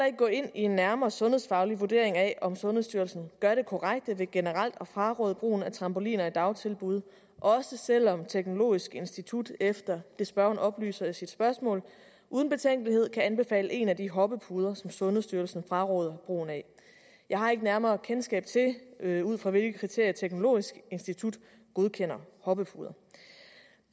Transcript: ikke gå ind i en nærmere sundhedsfaglig vurdering af om sundhedsstyrelsen gør det korrekte ved generelt at fraråde brugen af trampoliner i dagtilbud også selv om teknologisk institut efter det som spørgeren oplyser i sit spørgsmål uden betænkelighed kan anbefale en af de hoppepuder som sundhedsstyrelsen fraråder brugen af jeg har ikke nærmere kendskab til ud fra hvilke kriterier teknologisk institut godkender hoppepuder